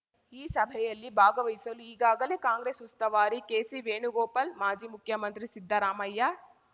ಈ ಸಭೆಯಲ್ಲಿ ಭಾಗವಹಿಸಲು ಈಗಾಗಲೇ ಕಾಂಗ್ರೆಸ್ ಉಸ್ತುವಾರಿ ಕೆಸಿ ವೇಣುಗೋಪಾಲ್ ಮಾಜಿ ಮುಖ್ಯಮಂತ್ರಿ ಸಿದ್ದರಾಮಯ್ಯ